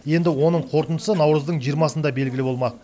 енді оның қорытындысы наурыздың жиырмасында белгілі болмақ